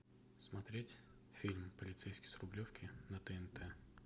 смотреть фильм полицейский с рублевки на тнт